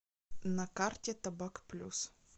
на карте табак плюс